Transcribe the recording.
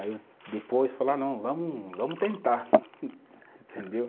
Aí eu depois falar, ah, não, vamos vamos tentar, entendeu?